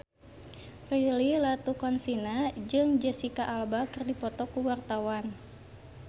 Prilly Latuconsina jeung Jesicca Alba keur dipoto ku wartawan